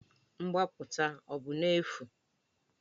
Mgbapụta ọ bụ n'efu?